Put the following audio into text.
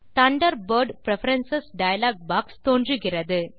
Thunderbird preference dialog box தோன்றுகிறது